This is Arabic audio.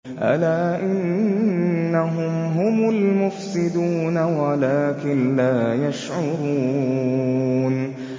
أَلَا إِنَّهُمْ هُمُ الْمُفْسِدُونَ وَلَٰكِن لَّا يَشْعُرُونَ